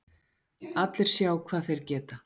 Allir sjá hvað þeir geta